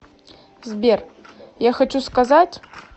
сбер я хочу сказать